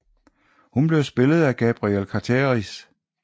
Hun bliver spillet af Gabrielle Carteris